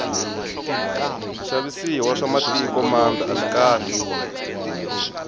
swixavisiwa swa mitiko mambe aswikahle